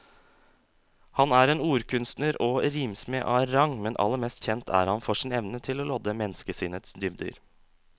Han er en ordkunstner og rimsmed av rang, men aller mest kjent er han for sin evne til å lodde menneskesinnets dybder.